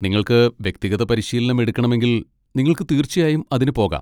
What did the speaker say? നിങ്ങൾക്ക് വ്യക്തിഗത പരിശീലനം എടുക്കണമെങ്കിൽ, നിങ്ങൾക്ക് തീർച്ചയായും അതിന് പോകാം.